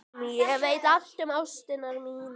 Ég veit allt um ástir mínar.